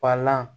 Palan